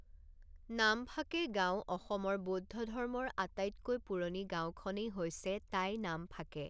নামফাকে গাঁওঃ অসমৰ বৌদ্ধ ধৰ্মৰ আটাইতকৈ পুৰণি গাঁওখনেই হৈছে টাই নামফাকে।